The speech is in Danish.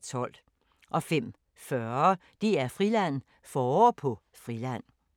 05:40: DR-Friland: Forår på Friland